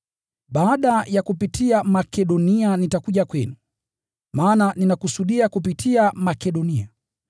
Baada ya kupitia Makedonia nitakuja kwenu, maana ninakusudia kupitia Makedonia.